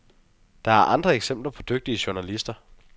Der er andre eksempler på dygtige journalister.